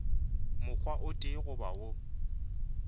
mokgwa o tee goba wo